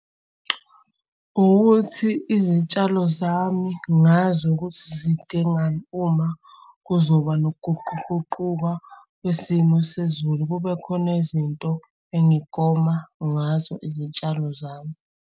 Ukuthi izitshalo zami ngazi ukuthi zidingani uma kuzoba nokuguquguquka kwesimo sezulu, kube khona izinto engigoma ngazo izitshalo zami.